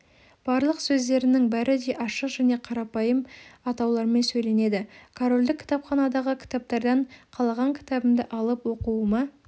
барлық сөздерінің бәрі де ашық және қарапайым атаулармен сөйленеді корольдік кітапханадағы кітаптардан қалаған кітабымды алып оқуыма